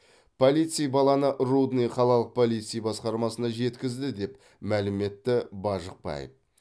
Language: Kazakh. полицей баланы рудный қалалық полиция басқармасына жеткізді деп мәлім етті бажықбаев